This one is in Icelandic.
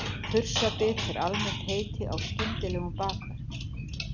Þursabit er almennt heiti á skyndilegum bakverk.